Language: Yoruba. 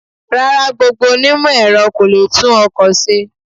Rárá, gbogbo ó onímọ̀-Ẹ̀rọ kó lo lè tún ọkọ̀ ṣe.